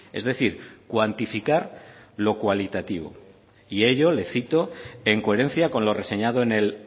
es decir cuantificar lo cualitativo y ello le cito en coherencia con lo reseñado en el